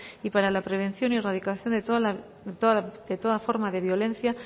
y para la prevención y erradicación de toda forma de violencia